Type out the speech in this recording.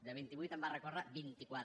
de vint i vuit va recórrer contra vint i quatre